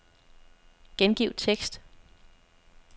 Gengiv tekst.